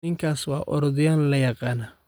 Ninkaasi waa Orodyahan la yaqaan